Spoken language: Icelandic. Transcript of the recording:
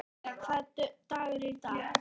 Veiga, hvaða dagur er í dag?